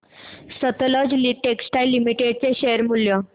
Sutlej textiles limited चे share मूल्य